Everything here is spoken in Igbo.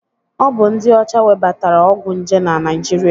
Ọ bụ ndị ọcha webatara ọgwụ nje na Naịjirịa.